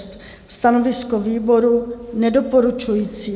Stanovisko výboru nedoporučující.